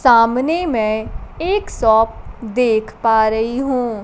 सामने मै एक शॉप देख पा रही हूं।